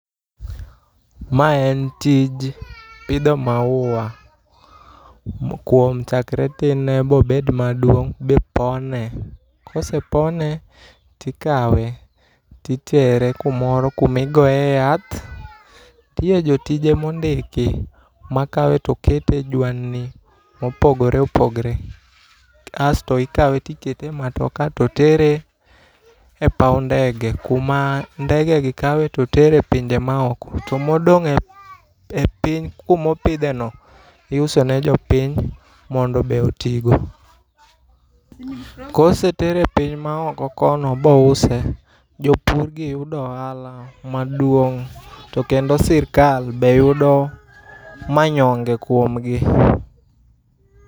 Mae en tij pidho maua. Kuom chakre tin ne mobed maduong' ibipone. Kosepone tikawe titere kumoro kumi goye yath. Nitiere jotije mondiki makawe to kete e jwandni mopogore opogore. Asto ikawe tikete ematoka to tere epaw ndege kuma ndege gi kawe totere e pinje ma oko. To modon e piny kumopidhe no iuso ne jo piny mondo be oti go. Kosetere e piny ma oko kono bo use jopur gi yudo ohala maduong' to kendo sirkal be yudo manyonge kuom gi.